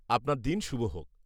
-আপনার দিন শুভ হোক।